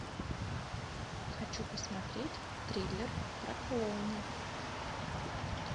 хочу посмотреть триллер про клоуна